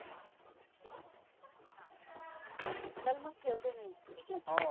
चल मग ठेवते मी. ठिक आहे?